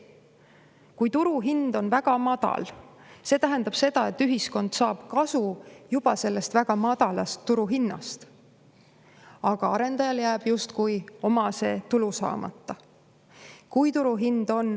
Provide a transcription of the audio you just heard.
Kui turuhind on väga madal, siis see tähendab seda, et ühiskond saab kasu juba sellest väga madalast turuhinnast, aga arendajal jääb justkui oma tulu saamata.